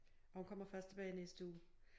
Og hun kommer først tilbage i næste uge